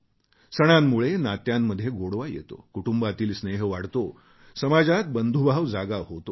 सणांमुळे नात्यांत गोडवा योतो कुटुंबातील स्नेह वाढतो समाजात बंधुभाव जागा होतो